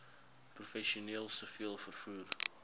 professioneel siviel vervoer